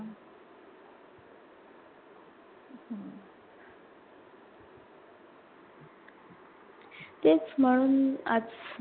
तेच म्हणून आच